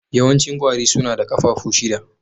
Yawancin ƙwari suna da ƙafafu shida.